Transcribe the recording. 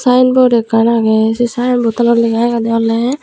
sayenbod ekkan agey sey sayenbodtanot lega agede oley.